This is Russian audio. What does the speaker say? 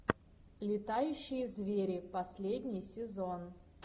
летающие звери последний сезон